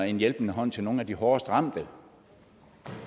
en hjælpende hånd til nogle af de hårdest ramte